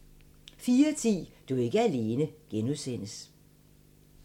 04:10: Du er ikke alene (G)